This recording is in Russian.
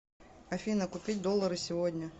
афина купить доллары сегодня